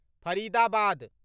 Faridabad